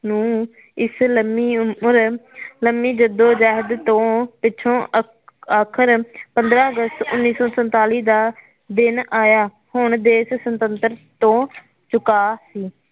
ਨੂੰ ਇਸ ਲੰਮੀ ਉਮਰ ਲੰਮੀ ਜੱਦੋ ਜਹਿਤ ਤੌ ਪਿਛੋਂ ਆਖਰ ਪੰਦਰਾ ਅਗਸਤ ਉਨੀ ਸੌ ਸੰਤਾਲੀ ਦਾ ਦਿਨ ਆਈਆ ਹੁਣ ਦੇਸ਼ ਸੁਤੰਤਰ ਤੋਂ ਚੁਕਾ ਸੀ